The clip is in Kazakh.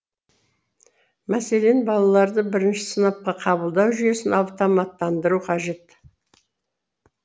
мәселен балаларды бірінші сыныпқа қабылдау жүйесін автоматтандыру қажет